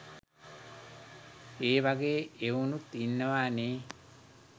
ඒ වගේ එවුනුත් ඉන්නවා නේ